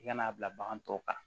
I ka n'a bila bagan tɔw kan